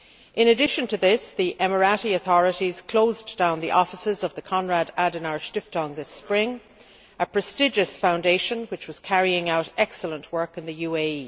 In addition to this, the UAE authorities closed down the offices of the Konrad Adenauer Stiftung this spring. This is a prestigious foundation which was carrying out excellent work in the UAE.